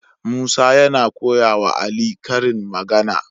Musa yana koya wa ali karin magAna